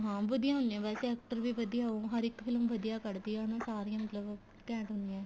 ਹਾਂ ਵਧੀਆ ਹੁੰਨੀਆਂ ਵੈਸੇ actor ਵੀ ਵਧੀਆ ਉਹ ਹਰ ਇੱਕ ਫਿਲਮ ਵਧੀਆ ਕੱਡਦੀ ਏ ਨਾ ਸਾਰੀਆਂ ਮਤਲਬ ਘੇੰਟ ਹੁੰਨੀਆਂ